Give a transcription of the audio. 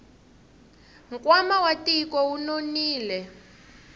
nkwama wa tiko wu nonile